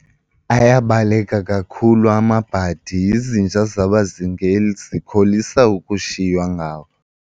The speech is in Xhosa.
Ayabaleka kakhulu amabhadi, izinja zabazingeli zikholisa ukushiywa ngawo.